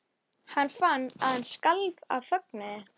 Hann skaffaði viskíið en svo kom bara engin dama.